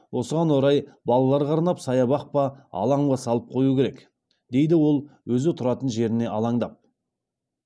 осыған орай балаларға арнап саябақ па алаң ба салып қою керек дейді ол өзі тұратын жеріне алаңдап